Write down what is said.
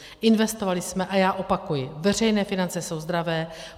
Investovali jsme a já opakuji, veřejné finance jsou zdravé.